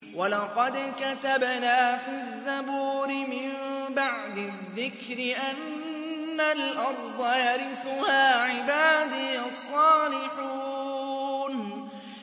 وَلَقَدْ كَتَبْنَا فِي الزَّبُورِ مِن بَعْدِ الذِّكْرِ أَنَّ الْأَرْضَ يَرِثُهَا عِبَادِيَ الصَّالِحُونَ